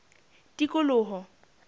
tikoloho